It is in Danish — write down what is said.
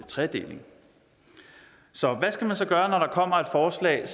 tredeling så hvad skal man så gøre når der kommer et forslag